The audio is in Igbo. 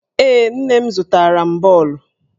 Ee, nne m zụtara m bọọlụ.